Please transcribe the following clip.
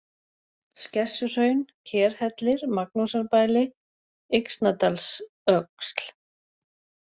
Skessuhraun, Kerhellir, Magnúsarbæli, Yxnadalsöxl